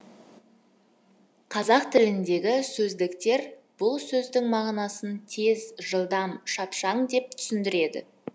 қазақ тіліндегі сөздіктер бұл сөздің мағынасын тез жылдам шапшаң деп түсіндіреді